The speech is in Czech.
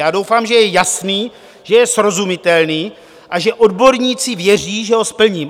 Já doufám, že je jasný, že je srozumitelný a že odborníci věří, že ho splním.